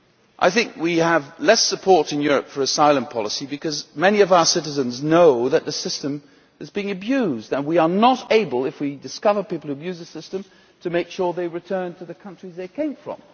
I think we have less support in Europe for asylum policy, because many of our citizens know that the system is being abused and because we are not able, if we discover people abusing the system, to make sure they return to the countries they came from.